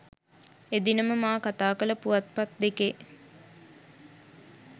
එදිනම මා කතා කළ පුවත් පත් දෙකේ